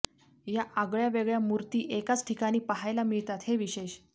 या आगळ्या वेगळ्या मूर्ती एकाच ठिकाणी पाहायला मिळतात हे विशेष